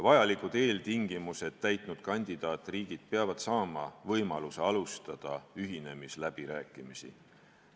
Vajalikud eeltingimused täitnud kandidaatriigid peavad saama võimaluse alustada ühinemisläbirääkimisi.